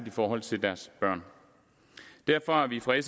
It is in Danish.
i forhold til deres børn derfor er vi fra